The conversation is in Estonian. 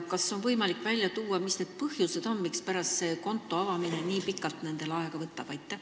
Kas on võimalik välja tuua, mis põhjustel nendel konto avamine nii pikalt aega võtab?